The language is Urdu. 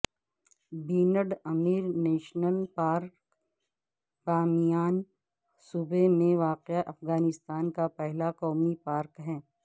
band Amir national park Bamiyan صوبے میں واقع افغانستان کا پہلا قومی پارک ہے